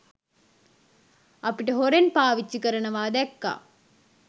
අපට හොරෙන් පාවිච්චි කරනවා දැක්කා.